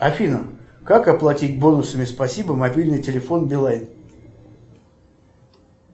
афина как оплатить бонусами спасибо мобильный телефон билайн